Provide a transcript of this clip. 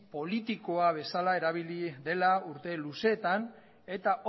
politiko bezala erabili dela urte luzeetan eta